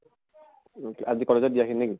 আজি college ত দিয়া খিনি নেকি?